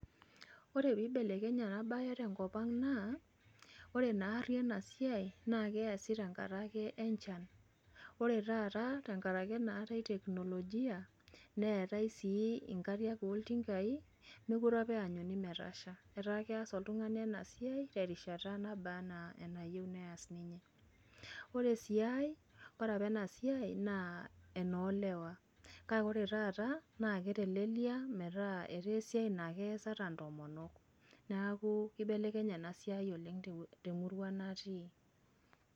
Ore peeibelekenye enabaye tenkopang' naa ore naarri ena siai naakeasi tenkatake enchan, ore taataa tengarake naatai teknolojia neetai sii inkariak ooltingai mekore apa eanyuni metasha. Etaa keas oltung'ani enasiai terishata naabaa anaa enayou neas ninye. Ore sii ai, kore apa enasiai naa enoolewa kake ore taata naake etelelia metaa etaaesiai naakeas ata ntomonok. Neaku keibelekenye enasiai oleng' [te] temurua natii.